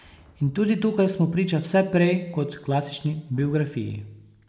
In tudi tukaj smo priča vse prej kot klasični biografiji.